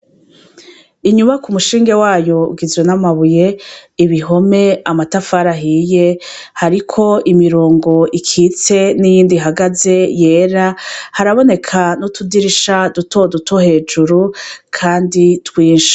Inyubaka umushinge wayo ugizwe n'amabuye ibihome amatafara ahiye hariko imirongo ikitse n'iyindi hagaze yera haraboneka n'utudirisha dutoduto hejuru, kandi twinshi.